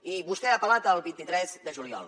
i vostè ha apel·lat al vint tres de juliol